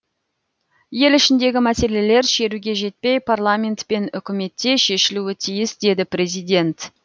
ел ішіндегі мәселелер шеруге жетпей парламент пен үкіметте шешілуі тиіс деді президент